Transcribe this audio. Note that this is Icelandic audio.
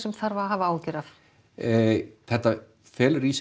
þarf að hafa áhyggjur þetta felur í sér